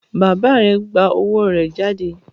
Bàbá rẹ gbà owó rẹ jáde?